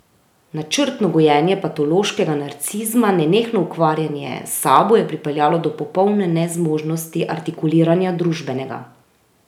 Načrtno gojenje patološkega narcizma, nenehno ukvarjanje s sabo, je pripeljalo do popolne nezmožnosti artikuliranja družbenega.